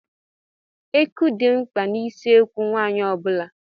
Eku dị mkpa n'ụsọekwu nwaanyị ọ bula.